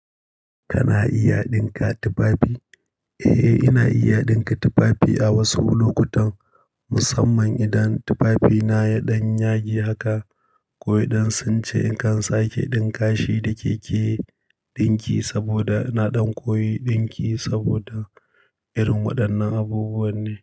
Kana iya dinka tufafi? Eh, ina iya dinka tufafi a wasu lokutan, musamman idan tufafina ya ɗan yage haka ko idan sun ce in kan sake dinkashi da keke dinki saboda ina ɗan koyi dinki saboda irin waɗannan abubuwa ne.